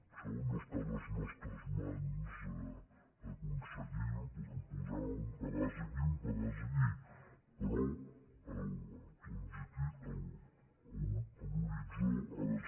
això no està a les nostres mans aconseguir ho podem posar un pedaç aquí un pedaç allí però l’horitzó ha de ser